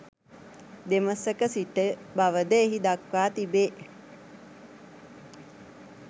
දෙමසක සිට බවද එහි දක්වා තිබේ